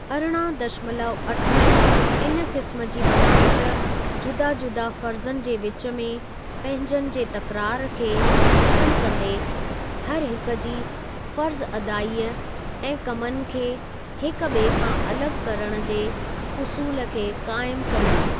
अरिड़हां दशमलव अठ इन क़िस्म जी बनावट जुदा जुदा फ़र्ज़नि जे विच में पंहिंजनि जे तकरार खे ख़तम कंदे, हरहिकु जी फ़र्ज़अदाई ऐं कमनि खे हिक ॿिए खां अलॻि करण जे उसूल खे काइमु कंदी।